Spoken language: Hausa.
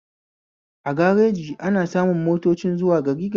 A gareji ana samun motocin zuwa gari gari